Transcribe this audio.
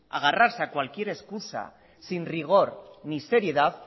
agarrarse a cualquier excusa sin rigor ni seriedad